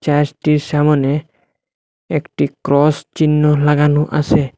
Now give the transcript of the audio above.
হ্যাসটির সামোনে একটি ক্রস চিহ্ন লাগানো আসে।